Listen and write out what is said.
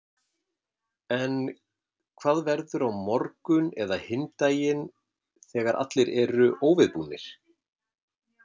En hvað verður á morgun eða hinn daginn þegar allir eru óviðbúnir?